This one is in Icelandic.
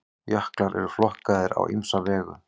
jöklar eru flokkaðir á ýmsa vegu